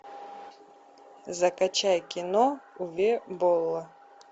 закачай кино уве болла